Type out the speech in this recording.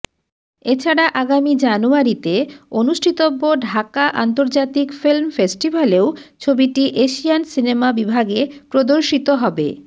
এছাড়া আগামী জানুয়ারিতে অনুষ্ঠিতব্য ঢাকা আন্তর্জাতিক ফিল্ম ফেস্টিভালেও ছবিটি এশিয়ান সিনেমা বিভাগে প্রদর্শিত হবে